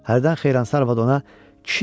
Hərdən Xeyransa arvad ona: